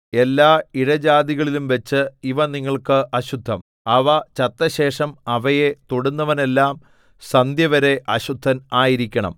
എല്ലാ ഇഴജാതികളിലുംവച്ച് ഇവ നിങ്ങൾക്ക് അശുദ്ധം അവ ചത്തശേഷം അവയെ തൊടുന്നവനെല്ലാം സന്ധ്യവരെ അശുദ്ധൻ ആയിരിക്കണം